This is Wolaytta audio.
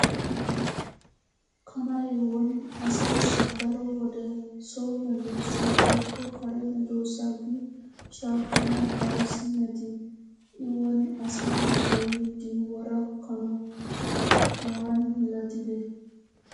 Kanay woni asaassi daro wode so medoosa woykko kare medoosa gi shaakkanawu ayssi metii? I woni asaara de'iiddi wora kana waani milatide?